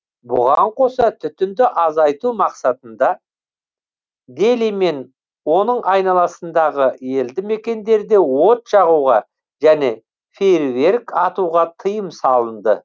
бұған қоса түтінді азайту мақсатында дели мен оның айналасындағы елді мекендерде от жағуға және фейерверк атуға тыйым салынды